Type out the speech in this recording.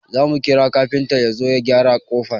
Zamu kira kafinta yazo ya gyara kofar